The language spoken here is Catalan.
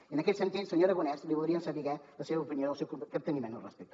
i en aquest sentit senyor aragonès voldríem saber la seva opinió i el seu capteniment al respecte